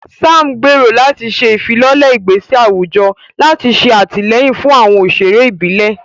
Sam gbèrò láti ṣe ìfilọ́lẹ̀ ìgbésẹ̀ àwùjọ láti ṣe àtìlẹ́yìn fún àwọn òṣèré ìbílẹ̀.